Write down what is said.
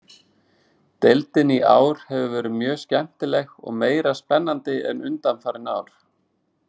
Deildin í ár hefur verið mjög skemmtileg og meira spennandi en undanfarin ár.